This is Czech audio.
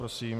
Prosím.